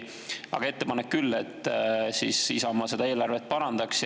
Aga ettepanek on küll, et Isamaa seda eelarvet parandaks.